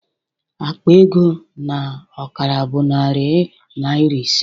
Akpa ego na ọkara bụ narị naịra ise